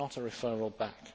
it is not a referral back